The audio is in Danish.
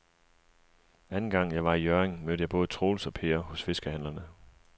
Anden gang jeg var i Hjørring, mødte jeg både Troels og Per hos fiskehandlerne.